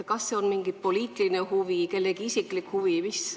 Kas see on mingi poliitiline huvi või kellegi isiklik huvi?